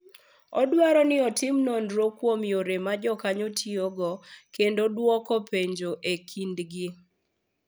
Odwaro ni otim nonro kuom yore ma jokanyo tiyogo kendo dwoko penjo e kindgi.